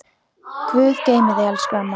Guð geymi þig elsku amma.